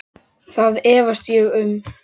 Það efast ég um.